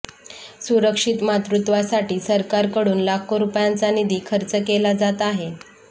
सुरक्षित मातृत्वासाठी सरकारकडून लाखो रुपयांचा निधी खर्च केला जात आहे